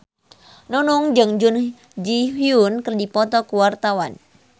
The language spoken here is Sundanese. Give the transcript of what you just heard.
Nunung jeung Jun Ji Hyun keur dipoto ku wartawan